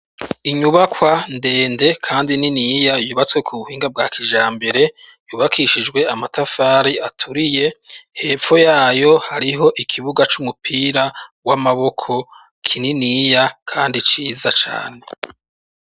Inyubakwa ndende kandi niniya yubatswe ku buhinga bwa kijambere, yubakishijwe amatafari aturiye, hepfo y'ayo hariho ikibuga c'umupira w'amaboko kininiya kandi ciza cane.